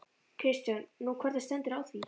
Kristján: Nú, hvernig stendur á því?